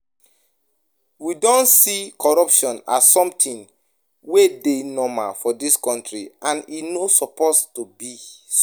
We don see corruption as something wey dey normal for dis country, and e no suppose to be so